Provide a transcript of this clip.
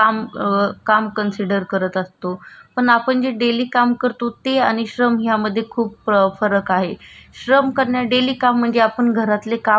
श्रम कारण डेली काम कारण म्हणजे आपल्या घरातली काम वगरे करतो हे आपलं डेली वर्क झालं म्हणजे आपण जेवण बनवतो कपडे वगरे धुतो भांडे वगरे धुतो हि अ आ हा आणि